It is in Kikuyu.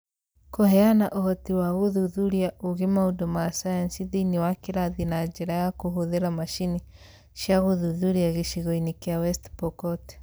Kũheana ũhoti wa gũthuthuria ũũgĩ maũndũ ma sayansi thĩinĩ wa kĩrathi na njĩra ya kũhũthĩra macini cia gũthuthuria gĩcigo-inĩ kĩa West Pokot.